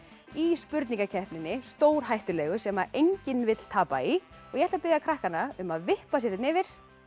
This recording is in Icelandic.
í spurningakeppninni stórhættulegu sem enginn vill tapa í ég ætla að biðja krakkana um að vippa sér hérna yfir